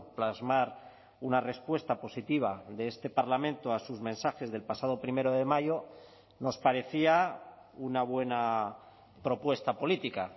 plasmar una respuesta positiva de este parlamento a sus mensajes del pasado primero de mayo nos parecía una buena propuesta política